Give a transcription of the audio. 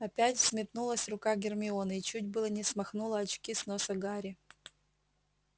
опять взметнулась рука гермионы и чуть было не смахнула очки с носа гарри